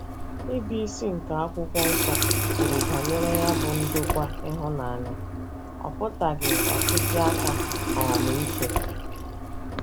Ịbụisi nke akwụkwọ nsọ kwuru banyere ya bụ ndokwa ịhụnanya, ọ pụtaghị ọchịchị aka um ike.